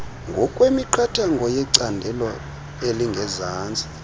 ngokwemiqathango yecandelo elingezantsi